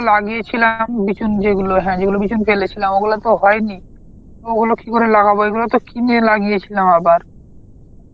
লাগিয়েছিলাম বিচুন যেগুলো, হ্যাঁ যেগুলো বিচুন ফেলেছিলাম ওগুলো তো হয়নি, ওগুলো কি করে লাগাবো এই গুনো তো কিনে লাগিয়েছিলাম আবার